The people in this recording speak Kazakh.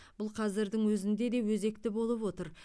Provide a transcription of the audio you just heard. бұл қазірдің өзінде де өзекті болып отыр